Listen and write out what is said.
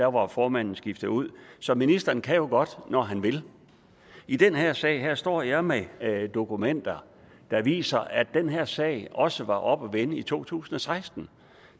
var formanden skiftet ud så ministeren kan jo godt når han vil i den her sag står jeg med dokumenter der viser at den her sag også var oppe at vende i to tusind og seksten